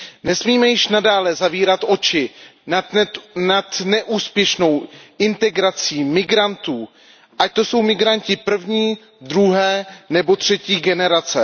Nesmíme již nadále zavírat oči nad neúspěšnou integrací migrantů, ať to jsou migranti první, druhé nebo třetí generace.